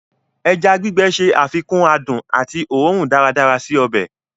Ẹja gbígbẹ̀ ṣé àfikún àdùn àti ọ̀rùn daradsara sí ọbẹ̀.